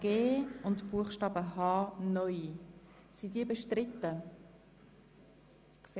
Im Hinblick auf die 2. Lesung ist folgender Antrag zu prüfen: